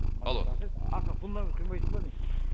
алло астына фундамент құймайсың ба не